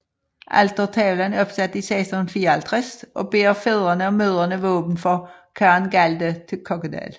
Altertavlen er opsat i 1654 og bærer fædrene og mødrene våben for Karen Galde til Kokkedal